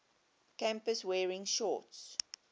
campus wearing shorts